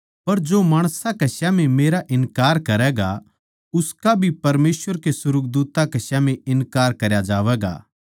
पर जो माणसां कै स्याम्ही मेरा इन्कार करैगा उसका भी परमेसवर कै सुर्गदूत्तां कै स्याम्ही इन्कार करया जावैगा